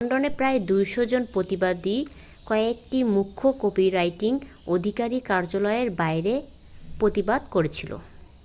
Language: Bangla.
লন্ডনে প্রায় 200 জন প্রতিবাদী কয়েকটি মুখ্য কপিরাইট অধিকারী কার্যালয়ের বাইরে প্রতিবাদ করেছিল